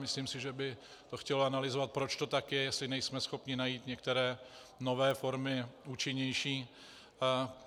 Myslím si, že by to chtělo analyzovat, proč to tak je, jestli nejsme schopni najít některé nové formy, účinnější.